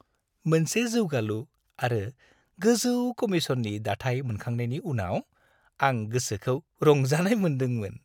मोनसे जौगालु आरो गोजौ कमीशननि दाथाइ मोनखांनायनि उनाव, आं गोसोखौ रंजानाय मोनदोंमोन।